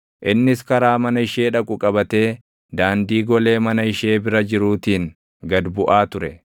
Innis karaa mana ishee dhaqu qabatee daandii golee mana ishee bira jiruutiin gad buʼaa ture.